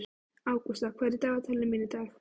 Ágústa, hvað er í dagatalinu mínu í dag?